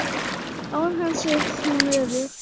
Án hans er hún örugg.